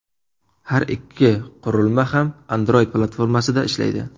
Har ikki qurilma ham Android platformasida ishlaydi.